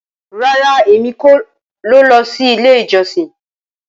Rara, Emi ko lọ si ile ijọsin.